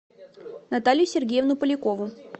наталью сергеевну полякову